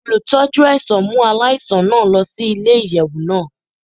Olutọju ẹṣọ mu alaisan naa lọ si ile-iyẹwu naa